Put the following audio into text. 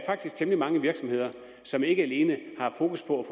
temmelig mange virksomheder som ikke alene har fokus på